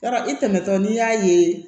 Yarɔ i tɛmɛtɔ n'i y'a ye